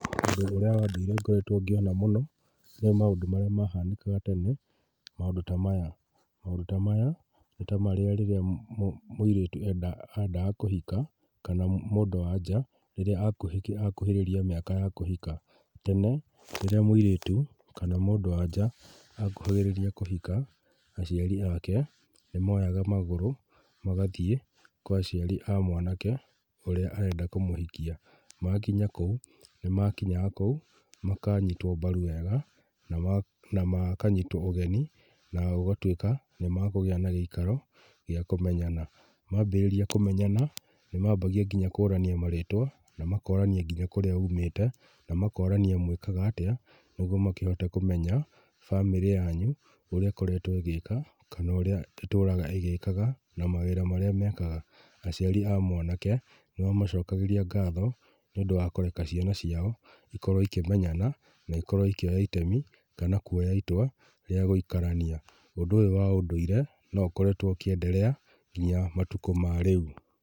Ũndũ ũria wa ndũire ngoretwo ngĩona mũno, nĩ maũndũ marĩa mahanĩkaga tene, maũndũ ta maya. Maũndũ ta maya mũirĩtu kana mũndũ wanja akuhĩrĩria mĩaka ya kũhika. Tene rĩrĩa mũirĩtu kana mũndũ wanja akuhagĩrĩria kũhika, aciari ake nĩmoyaga magũrũ magathiĩ ngĩnya kwa mwanake ũrĩa ũrenda kũmũhikia. Makinya kũu, nĩ makinyaga kũu makanyitwo mbaru wega na makanyitwo ũgeni na makagĩa na gĩikaro gĩa kũmenyana. Maambĩrĩria kũmenyana, nĩ maambagia kũrania marĩtwa na makorania kũrĩa mũmĩte, mwĩkaga atĩa, nĩguo makĩhote kũmenya bamĩrĩ yanyu ũrĩa ĩkoretwo ĩgĩka, kana ũrĩa ĩtũraga ĩgĩka na mawĩra marĩa mekaga. Aciari a mwanake nĩ mamacokagĩria ngatho nĩ kũreka ciana ciao ikorwo ikĩmenyana na ikorwo ikĩoya itemi kana itwa rĩa gũikarania. Ũndũ ũyũ wa ũndũire no ũkoretwo ũkĩenderea nginya matukũ ma rĩu.